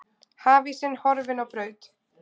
Hafísinn horfinn á braut